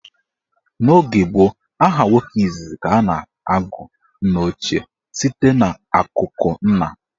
N' oge gboo, aha nwoke izizi ka a na-agụ nnaochie site n'akụkụ nna.